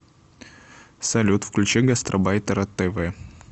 салют включи гастарбайтера тэ вэ